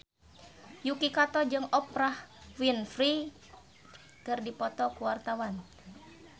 Yuki Kato jeung Oprah Winfrey keur dipoto ku wartawan